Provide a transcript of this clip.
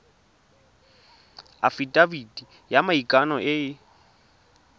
afitafiti ya maikano e e